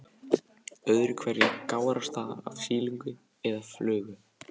Öðru hverju gárast það af silungi eða flugu.